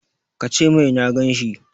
Ka ce mai na gan shi!